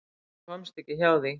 Hún komst ekki hjá því.